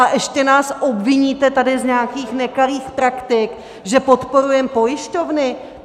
A ještě nás obviníte tady z nějakých nekalých praktik, že podporujeme pojišťovny?